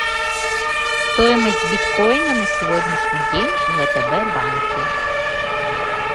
стоимость биткоина на сегодняшний день в втб банке